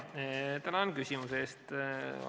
Tänan küsimuse eest!